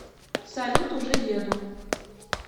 салют уже еду